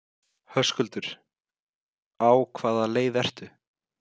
Höskuldur: Á hvaða leið ertu?